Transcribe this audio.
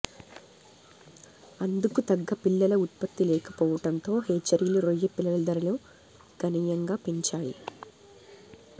అందుకు తగ్గ పిల్లల ఉత్పత్తి లేకపోవటంతో హేచరీలు రొయ్య పిల్లల ధరలు గణనీయంగా పెంచాయి